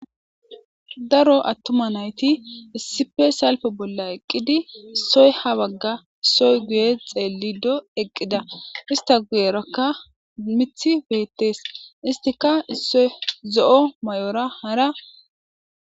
Daro atuma nayit issippe salpe bolla eqqidi issoyi ha bagga issoyi guye xelido eqqida. Issita guyeaka mithi beettes. Issitika issoyi zo'o mayora hara .